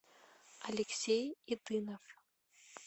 алексей идынов